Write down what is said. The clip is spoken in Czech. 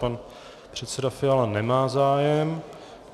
Pan předseda Fiala nemá zájem.